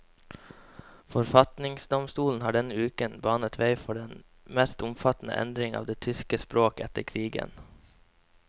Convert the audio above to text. Forfatningsdomstolen har denne uken banet vei for den mest omfattende endring av det tyske språk etter krigen.